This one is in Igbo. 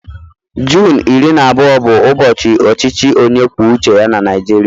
Junu iri na abụọ bụ ụbọchị ọchịchị onye kwuo uche ya na Naịjirịa